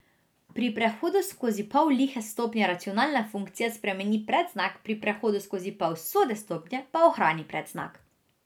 Pri prehodu skozi pol lihe stopnje racionalna funkcija spremeni predznak, pri prehodu skozi pol sode stopnje pa ohrani predznak.